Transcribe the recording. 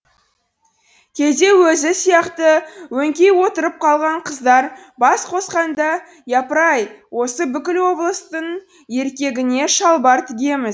кейде өзі сияқты өңкей отырып қалған қыздар бас қосқанда япыр ай осы бүкіл облыстың еркегіне шалбар тігеміз